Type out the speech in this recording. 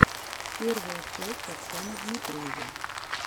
первая часть оксаны дмитриевой